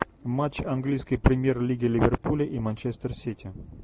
матч английской премьер лиги ливерпуля и манчестер сити